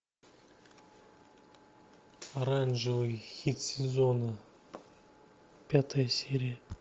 оранжевый хит сезона пятая серия